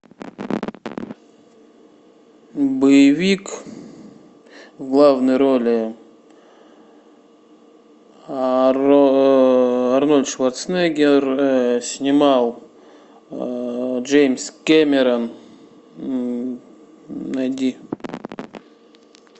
боевик в главной роли арнольд шварценеггер снимал джеймс кэмерон найди